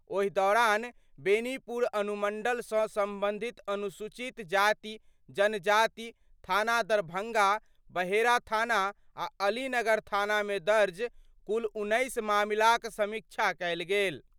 ओहि दौरान बेनीपुर अनुमंडल सं संबंधित अनुसूचित जाति जनजाति थाना दरभंगा, बहेड़ा थाना आ अलीनगर थानामे दर्ज कुल 19 मामिलाक समीक्षा कयल गेल।